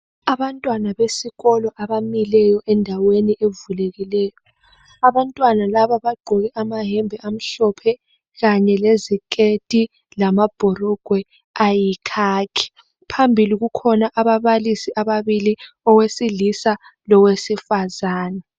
Abantwana besikolo abamileyo endaweni evulekileyo. Abantwana laba bagqoke amayembe amhlophe kanye leziketi lamabhurugwe ayikhakhi, phambili kukhona ababalisi ababili owesilisa lowesifazana.